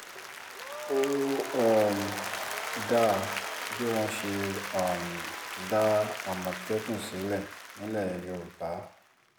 ó um dáa bí wọ́n ṣe um dá àmọ̀tẹ́kùn sílẹ̀ nílẹ̀ yorùbá